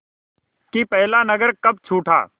कि पहला नगर कब छूटा